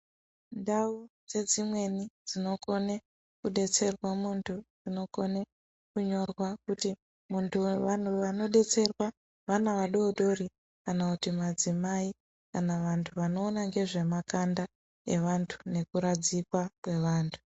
Ndau dze dzimweni dzino kone ku detserwa muntu ano kone kunyorwa kuti muntu vanhu vano detserwa vana vadodori kana kuti madzimai kana vantu vano ona ngezve makanda evantu neku radzikwa kwe vantu.